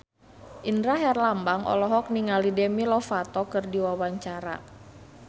Indra Herlambang olohok ningali Demi Lovato keur diwawancara